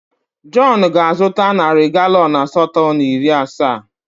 Jọn ga-azụta narị galọn asatọ na iri asaa.